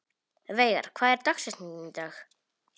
Veigar, hver er dagsetningin í dag?